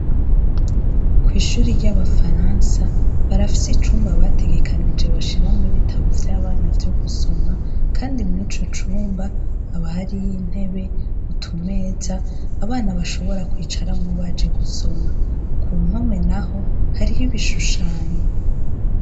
Ikigo c'ishure ry'abafaransa barafis' icumba bategekanije bashiram' ibitabo vy'abana vyo gusoma, kandi mwico cumba hari y'intebe, utumez' abana bashobora kwicaramwo baje gusoma, kumpome naho harih' ibishushanyo bitandukanye, hakaba hasize n' irangi ryera, hejuru hariko hak'amatar' atuma habona neza.